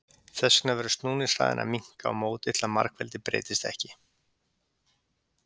þess vegna verður snúningshraðinn að minnka á móti til að margfeldið breytist ekki